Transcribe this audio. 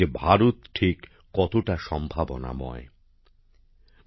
ভারত ঠিক কতটা সম্ভাবনাময় সেটি তাঁরা বুঝতে পেরেছেন